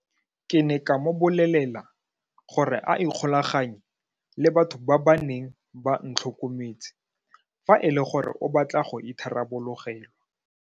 Ke ne ka mo bolelela gore a ikgolaganye le batho ba ba neng ba ntlhokometse fa e le gore o batla go itharabologelwa.